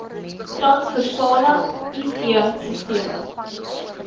transversale it sisteme